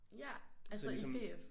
Ja altså i PF?